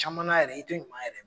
Caman na yɛrɛ i ti ɲuman yɛrɛ